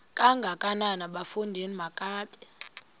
kangakanana bafondini makabe